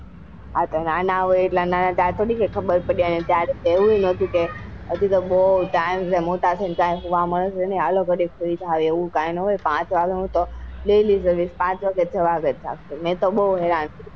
હા તો નાના હોય ત્યારે થોડી કઈ ખબર પડે અને ત્યારે તો એવું ય નાતુ કે હજુ તો બૌ time છે મોટા થઇ ને કઈ સુવા ની મળે ચાલો ગાડીક સુઈ જઈએ એવું કઈ નાં હોય પાંચ વાગે હું તો પાંચ વાગે જાગતી મેં તો બો હેરાન કર્યા.